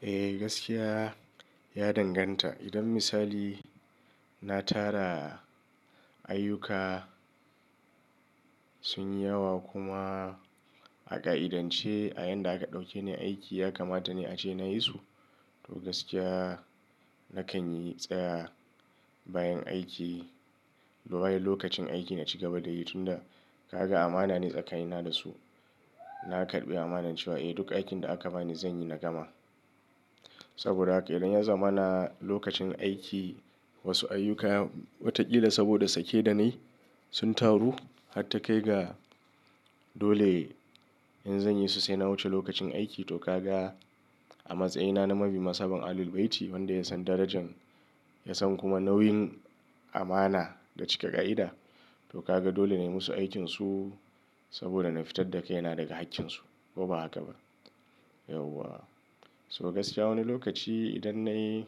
Eh, gaskiya ya danganta. Idan misali na tara ayyuka sun yi yawa kuma a ƙa'idance a yanda aka ɗauke ni aiki ya kamata ne ace na yi su. To gaskiya nakan yi tsaya bayan aiki, bayan lokacin aiki na ci gaba da yi tunda ka ga amana ne tsakanina da su. Na karɓi amanar cewa eh duk aikin da aka bani zan yi na gama. Saboda haka idan ya zamana lokacin aiki wasu ayyuka watakila saboda sake da na yi sun taru har ta kai ga dole in zan yi su sai na wuce lokacin aiki to ka ga a matsayina na Mabi Masaban Ahlul Bayti wanda ya san darajan, ya san kuma nauyin amana da cika ƙa'ida, to ka ga dole na yi musu aikinsu saboda na fitar da kai na daga hakkinsu, ko ba haka ba? Yauwa. So gaskiya wani lokaci idan na yi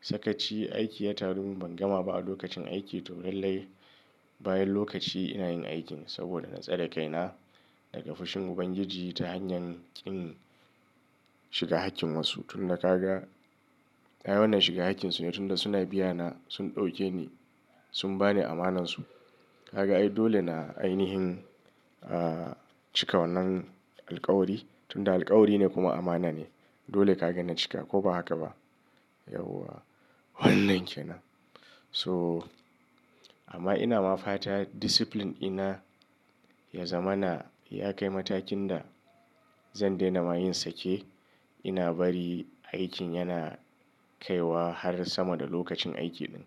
sakaci aiki ya taru min ban gama ba a lokacin aiki to lallai bayan lokaci ina yin aikin saboda na tsare kaina daga fushin Ubangiji ta hanyar kin shiga hakkin wasu. Tunda ka ga ai wannan shiga hakkin su ne tunda suna biya na, sun ɗauke ni, sun ba ni amanansu. Ka ga ai dole na ainihin, ah, cika wannan alkawari tunda alkawari ne kuma amana ne. Dole ka gani cika ko ba haka ba? Yauwa. Wannnan ke nan. So amma ina mafata discipline ina ya zamana ya kai matakin da zan daina ma yin sake ina bari aikin yana kaiwa har sama da lokacin aiki ɗin.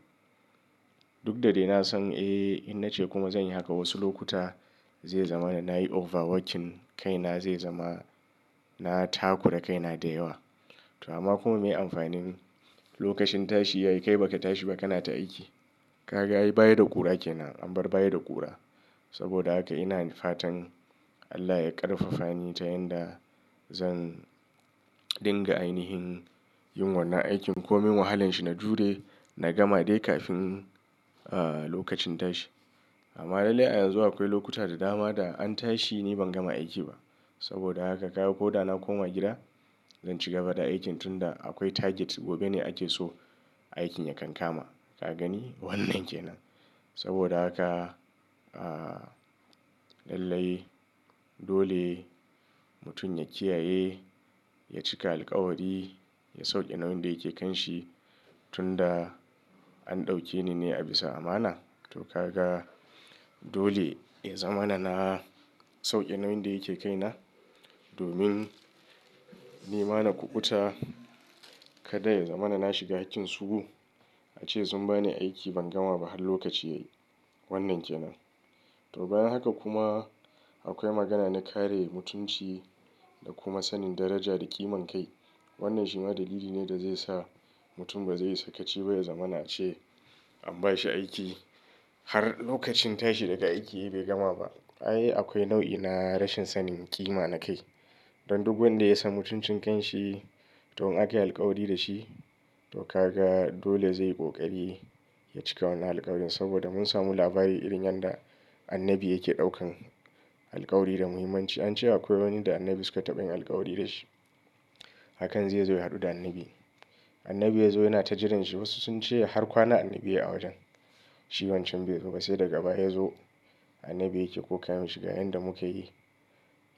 Duk da dai na san, eh, in na ce kuma zan yi haka wasu lokuta zai zama na yi overworking kaina, zai zama na takura kaina da yawa. To amma kuma mai amfanin lokacin tashi yayi kai baka tashi baka na ta aiki? Ka ga ayi baya da ƙura ke nan an bar baya da ƙura. Saboda haka ina fatan Allah ya ƙarfafa ni ta yanda zan dinga ainihin yin wannan aikin komin wahalan shi na jure, na gama dai kafin, ah, lokacin tashi. Amma lallai a yanzu akwai lokuta da dama da an tashi ni ban gama aiki ba. Saboda haka kaga ko da na koma gida, zan ci gaba da aikin tunda akwai target gobe ne ake so aikin ya kamkama. Ka gani? Wannnan ke nan. Saboda haka, ah, lallai dole mutum ya kiyaye, ya cika alkawari, ya sauke nauyin da yake kan shi, tunda an ɗauke ni ne a bisa amana. To ka ga dole ya zamana na sauke nauyin da yake kai na domin ni ma na kuɓuta kada ya zamana na shiga hakkin su gu. A ce sun ba ni aiki ban gama ba har lokaci yayi. Wannnan ke nan. To bayan haka kuma akwai magana na kare mutunci da kuma sanin daraja da ƙiman kai. Wannnan shi ma dalili ne da zai sa mutum ba zai yi sakaci ba, ya zamana ce an ba shi aiki har lokacin tashi daga aiki bai gama ba. Ai akwai nau'i na rashin sanin ƙima na kai. Dan duk wanda ya san mutuncin kan shi to in aka yi alkawari da shi, to ka ga dole zai yi ƙoƙari ya cika wannan alkawarin saboda mun samu labari irin yanda Annabi yake ɗaukan alkawari da muhimmanci. An ce akwai wani da Annabi suka taɓa yin alkawari da shi. Hakan zai zo ya haɗu da Annabi. Annabi ya zo yana ta jiranshi, wasu sun ce har kwana Annabi yayi a wajen. Shi wancan bai zo ba sai daga baya ya zo, Annabi yake ƙoƙarin shiga yanda muka yi.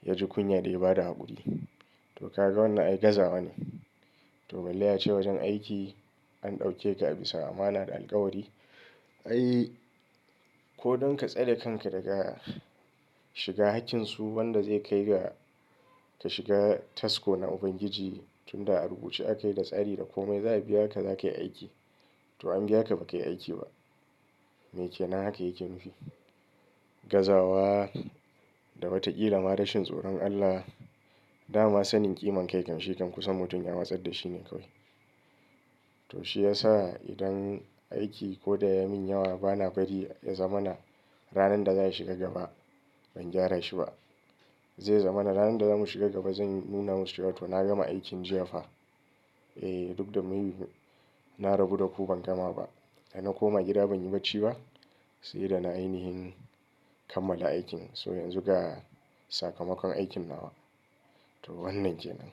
Ya ji kunya da ya ba da haƙuri. To ka ga wannan ai gazawa ne. To balle ace wajen aiki an ɗauke ka a bisa amana da alkawari. Ai ko don ka tsare kanka daga shiga hakkin su wanda zai kai ga ka shiga tasko na Ubangiji tunda a rubuce aka yi da tsari da kome za a biya ka zakayi aiki. To an biya ka baka yi aiki ba. Me kenan haka yake nufi? Gazawa da watakila ma rashin tsoron Allah, dama sanin ƙiman kai kan shi kan kusan mutum ya matsar da shi ne kawai. To shi ya sa idan aiki ko da ya min yawa bana bari ya zamana ranar da za shi ga gaba ban gyara shi ba. Zai zamana ranar da zamu shiga gaba zan nuna masu cewa to na gama aikin jiya fa. Eh duk da mai, na rabu da ku ban gama ba. Da na koma gida ban yi bacci ba, sai da na ainihin kammala aikin. So yanzu ga sakamakon aikin nawa. To wannan ke nan.